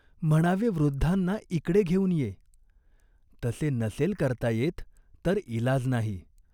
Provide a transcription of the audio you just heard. म्हणावे वृद्धांना इकडे घेऊन ये, तसे नसेल करता येत तर इलाज नाही.